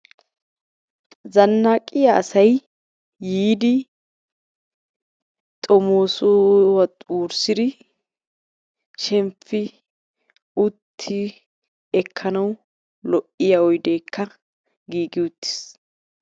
zanaqqiya asay yiidi xomoosuwa wurssidi shemppi utti ekkanawu lo''iya oydeekka giigi uttiis.